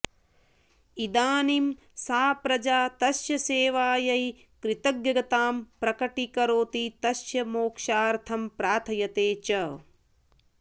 इदानीं सा प्रजा तस्य सेवायै कृतज्ञतां प्रकटीकरोति तस्य मोक्षार्थं प्रार्थयते च